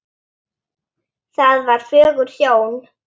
Það var fögur sjón.